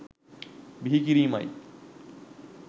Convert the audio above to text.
බිහිකිරීමයි.